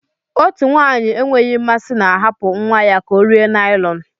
Otu nwanyị enweghị mmasị na-ahapụ nwa ya ka ọ rie naịlọn.